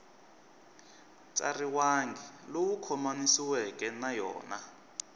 tsariwangi lowu khomanisiweke na yona